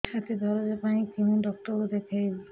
ଛାତି ଦରଜ ପାଇଁ କୋଉ ଡକ୍ଟର କୁ ଦେଖେଇବି